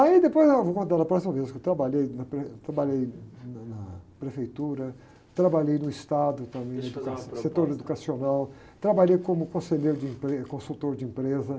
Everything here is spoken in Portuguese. Aí, depois, não, vou contar na próxima vez, que eu trabalhei na, trabalhei na, na prefeitura, trabalhei no estado também, em educa...eixa eu fazer uma pergunta antes.etor educacional, trabalhei como conselheiro de empre, consultor de empresa.